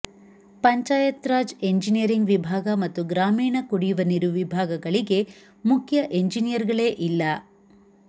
Panchayat Raj engineering ವಿಭಾಗ ಮತ್ತು ಗ್ರಾಮೀಣ ಕುಡಿಯುವ ನೀರು ವಿಭಾಗಗಳಿಗೆ ಮುಖ್ಯ ಎಂಜಿನಿಯರ್ಗಳೇ ಇಲ್ಲ